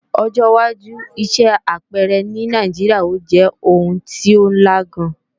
Ọjọ́wájú iṣẹ́ apẹẹrẹ ní Nàìjíríà ó jẹ́ oun tí ó ńla gan